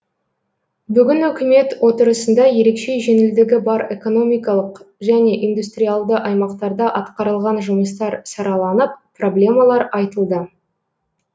бүгін үкімет отырысында ерекше жеңілдігі бар экономикалық және индустриялды аймақтарда атқарылған жұмыстар сараланып проблемалар айтылды